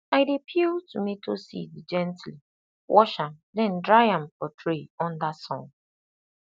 i dey peel tomato seed gently wash am then dry am for tray under sun